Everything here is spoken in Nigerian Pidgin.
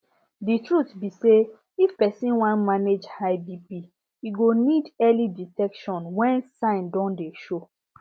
the truth be sayif persin wan manage high bp e go need early detection when sign don dey show